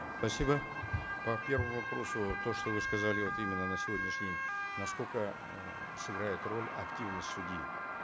спасибо по первому вопросу то что вы сказали вот именно на сегодняшний день насколько эээ сыграет роль активность судьи